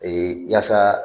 yaasa